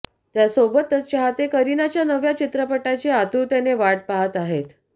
त्यासोबतच चाहते करिनाच्या नव्या चित्रपटाची आतुरतेने वाट पाहत आहेत